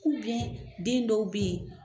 den dɔw bɛ yen